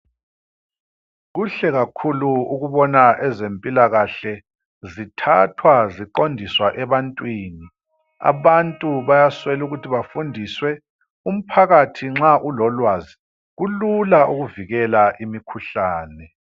Kuhle kakhulu ukubona ezempilakahle zithathwa ziqondiswa ebantwini. Abantu bayaswelukuthi bafundiswe. Umphakathi nxa ulolwazi kulula ukuvikela imikhuhlane.